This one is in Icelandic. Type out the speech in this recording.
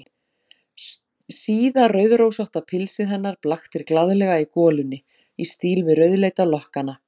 Síða rauðrósótta pilsið hennar blaktir glaðlega í golunni, í stíl við rauðleita lokkana.